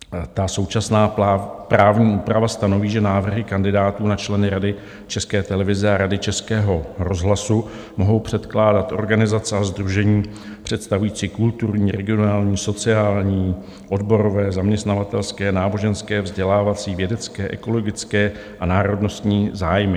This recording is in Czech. Ta současná právní úprava stanoví, že návrhy kandidátů na členy Rady České televize a Rady Českého rozhlasu mohou předkládat organizace a sdružení představující kulturní, regionální, sociální, odborové, zaměstnavatelské, náboženské, vzdělávací, vědecké, ekologické a národnostní zájmy.